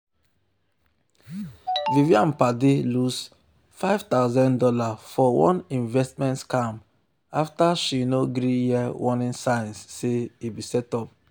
vivian padi lose five thousand dollars for one investment scam after she no gree hear warning signs say e be setup. um